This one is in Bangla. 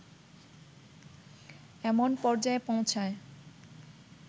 এমন পর্যায়ে পৌঁছায়